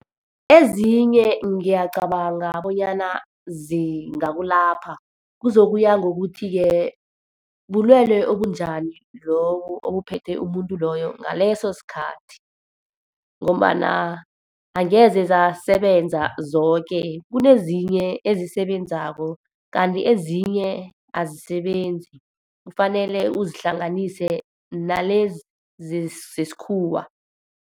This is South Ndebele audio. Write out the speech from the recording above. Ezinye ngiyacabanga bonyana zingakulapha. Kuzokuya ngokuthi-ke, bulwele obunjani lobu ebuphethe umuntu loyo ngaleso sikhathi. Ngombana angeze zasebenza zoke. Kunezinye esisebenzako, kanti ezinye azisebenzi, kufanele uzihlanganise nalezi zesikhuwa.